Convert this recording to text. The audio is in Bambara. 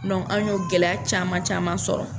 an y'o gɛlɛya caman caman sɔrɔ.